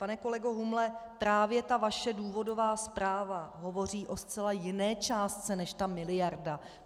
Pane kolego Humle, právě ta vaše důvodová zpráva hovoří o zcela jiné částce než ta miliarda.